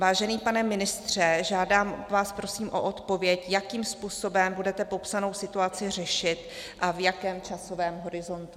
Vážený pane ministře, žádám vás prosím o odpověď, jakým způsobem budete popsanou situaci řešit a v jakém časovém horizontu?